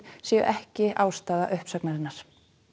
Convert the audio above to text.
séu ekki ástæða uppsagnarinnar